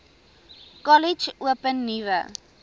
kollege open nuwe